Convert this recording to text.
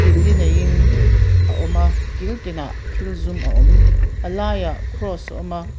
kil li neiin a awm a kil tinah thil zum a awm a laiah cross a awm a.